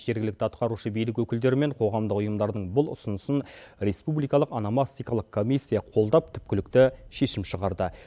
жергілікті атқарушы билік өкілдері мен қоғамдық ұйымдардың бұл ұсынысын республикалық аномастикалық комиссия қолдап түпкілікті шешім шығарды